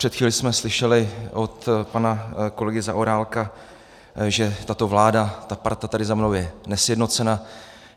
Před chvílí jsme slyšeli od pana kolegy Zaorálka, že tato vláda, ta parta tady za mnou je nesjednocena.